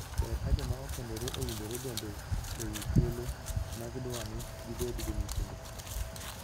Ber ka joma okendore owinjore bende e wii thuolo ma gidwani gibed gi nyithindo.